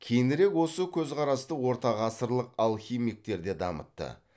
кейінірек осы көзқарасты ортағасырлық алхимиктер де дамытты